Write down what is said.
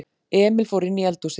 Emil fór inní eldhúsið.